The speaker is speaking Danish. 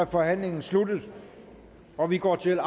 forhandlingen sluttet og vi går til